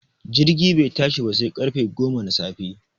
Jirgin bai tashi ba sai ƙarfe goma na safe